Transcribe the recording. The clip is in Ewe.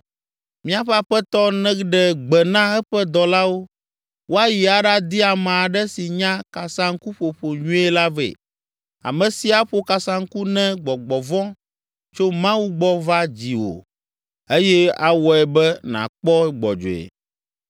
Míaƒe aƒetɔ neɖe gbe na eƒe dɔlawo woayi aɖadi ame aɖe si nya kasaŋkuƒoƒo nyuie la vɛ, ame si aƒo kasaŋku ne gbɔgbɔ vɔ̃ tso Mawu gbɔ va dziwò eye awɔe be nàkpɔ gbɔdzɔe.”